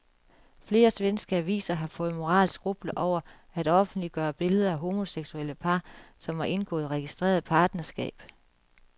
Flere svenske aviser har fået moralske skrupler over at offentliggøre billeder af homoseksuelle par, som har indgået registreret partnerskab.